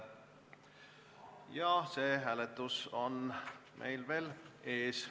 See hääletus on meil veel ees.